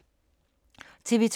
TV 2